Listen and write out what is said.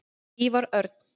Ívar Örn.